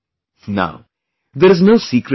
Now, there is no secret in this